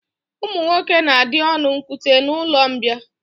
Ụmụ nwoke na-adị ọnụ nkute n'ụlọmbịa